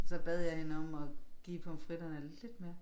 Så bad jeg hende om at give pomfritterne lidt mere